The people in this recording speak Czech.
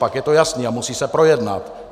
Pak je to jasné a musí se projednat.